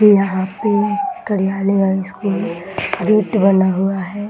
ये यहाँ पे कार्यालय या स्कूल रेट बना हुआ है ।